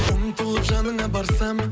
ұмтылып жаныңа барсам